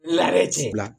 Layi tiɲɛ la